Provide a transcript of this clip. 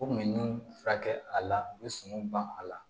U kun bɛ ni furakɛ a la u bɛ son ban a la